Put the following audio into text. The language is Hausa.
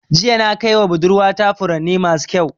Jiya na kaiwa budurwa ta furanni masu ƙyau.